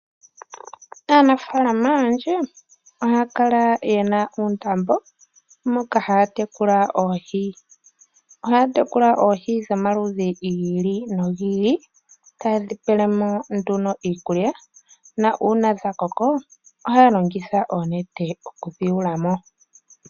Aanampya ohaya kala ye na uundambo moka haya tekula oohi. Ohaya tekula oohi dhomaludhi gayoolokathana, tadhi pelwa mo iikulya, ngele dha koko ohaya longitha onete okudhi kwata mo.